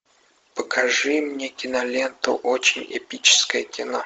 покажи мне киноленту очень эпическое кино